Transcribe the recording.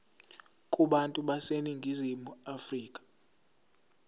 kubantu baseningizimu afrika